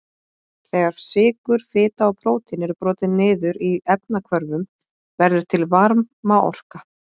Þegar sykur, fita og prótín eru brotin niður í efnahvörfum verður til varmaorka.